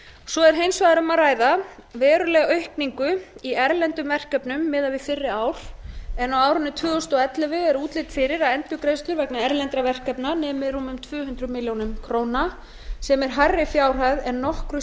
svo er hins vegar um að ræða verulega aukningu í erlendum verkefnum miðað við fyrr ár en á árinu tvö þúsund og ellefu er útlit fyrir að endurgreiðslur vegna erlendra verkefna nemi rúmum tvö hundruð milljóna króna sem er hærri fjárhæð en nokkru